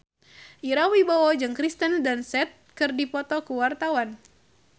Ira Wibowo jeung Kirsten Dunst keur dipoto ku wartawan